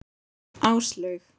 Áslaug